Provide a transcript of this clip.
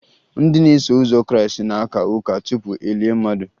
Ndị na-eso ụzọ krịịstị na-aka ụka tupu e lie mmadụ